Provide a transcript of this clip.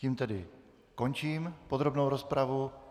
Tím tedy končím podrobnou rozpravu.